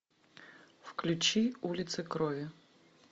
включи улица крови